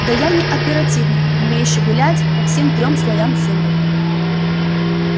да я не оперативник умеющий гулять по всем трём слоям сумрака